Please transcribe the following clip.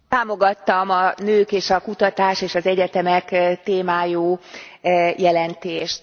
Támogattam a nők és a kutatás és az egyetemek témájú jelentést.